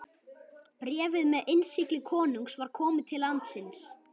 Bréfið með innsigli konungs var komið til landsins.